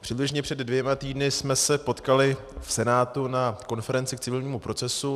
přibližně před dvěma týdny jsme se potkali v Senátu na konferenci k civilnímu procesu.